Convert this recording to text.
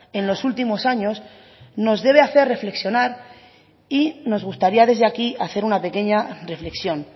en los últimos años nos debe hacer reflexionar y nos gustaría desde aquí hacer una pequeña reflexión